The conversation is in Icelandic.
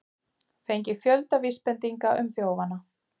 Fengið fjölda vísbendinga um þjófana